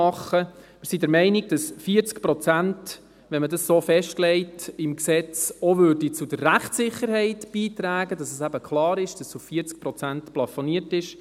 Wir sind der Meinung, wenn die 40 Prozent im Gesetz festgelegt würden, dies auch zur Rechtssicherheit beitrüge, weil es eben klar wäre, dass es bei 40 Prozent plafoniert ist.